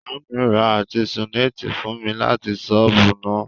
Maami ra artesunate fun mi lati soobu na.